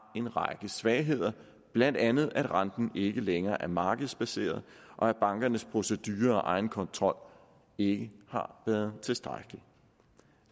en række svagheder blandt andet at renten ikke længere er markedsbaseret og at bankernes procedurer og egenkontrol ikke har været tilstrækkelig